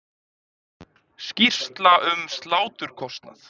Skýrsla um sláturkostnað